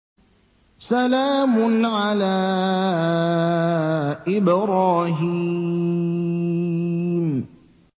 سَلَامٌ عَلَىٰ إِبْرَاهِيمَ